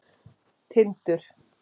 Tindur